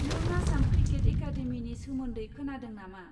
नों आसाम क्रिकेट एकादेमिनि सोमोन्दै खोनादों नामा?